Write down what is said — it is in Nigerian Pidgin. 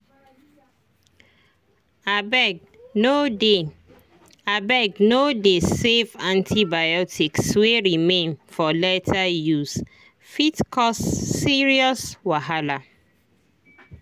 abegno dey abegno dey save antibiotics wey remain for later usee fit cause serious wahala.